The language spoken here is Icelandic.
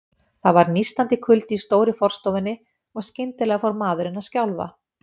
Það var nístandi kuldi í stóru forstofunni, og skyndilega fór maðurinn að skjálfa.